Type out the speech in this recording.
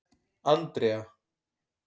Andrea